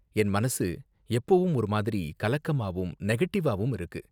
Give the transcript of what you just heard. என் மனசு எப்போவும் ஒரு மாதிரி கலக்கமாவும் நெகட்டிவ்வாவும் இருக்கு.